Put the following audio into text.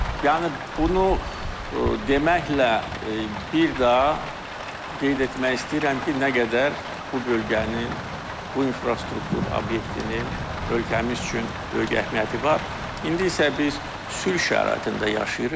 Yəni bunu deməklə bir daha qeyd etmək istəyirəm ki, nə qədər bu bölgənin, bu infrastruktur obyektinin ölkəmiz üçün böyük əhəmiyyəti var, indi isə biz sülh şəraitində yaşayırıq.